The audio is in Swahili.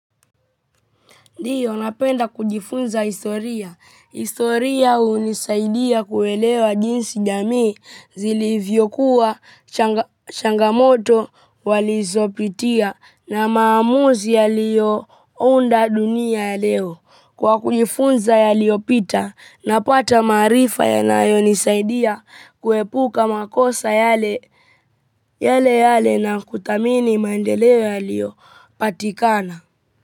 Ndio napenda kujifunza historia. Historia hunisaidia kuelewa jinsi jamii zilivyokuwa, changamoto walizopitia na maamuzi yaliyounda dunia ya leo. Kwa kujifunza yaliyopita, napata maarifa yanayo nisaidia kuepuka makosa yale yale na kuthamini maendeleo yaliyo patikana.